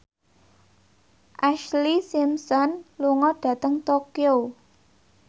Ashlee Simpson lunga dhateng Tokyo